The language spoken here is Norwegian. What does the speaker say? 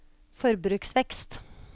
forbruksvekst